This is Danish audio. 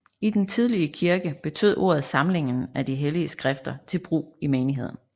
I den tidlige kirke betød ordet samlingen af de hellige skrifter til brug i menigheden